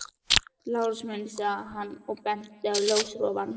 Lárus minn, sagði hann og benti á ljósarofann.